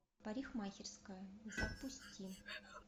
парикмахерская запусти